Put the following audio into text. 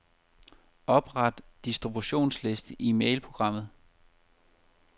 Opret distributionsliste i mailprogrammet.